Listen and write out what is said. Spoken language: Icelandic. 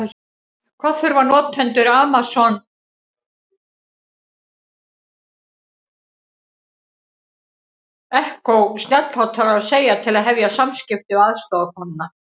Hvað þurfa notendur Amazon Echo snjallhátalara að segja til að hefja samskipti við aðstoðarkonuna?